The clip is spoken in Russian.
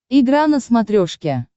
игра на смотрешке